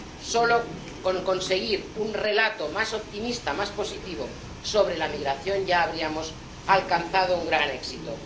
Solo con conseguir un relato más optimista, más positivo, sobre la migración, ya habríamos alcanzado un gran éxito.